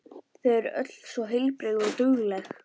Þau eru öll svo heilbrigð og dugleg.